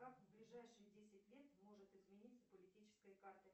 как в ближайшие десять лет может измениться политическая карта